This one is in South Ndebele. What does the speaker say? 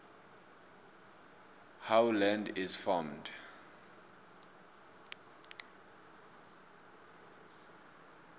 how land is formed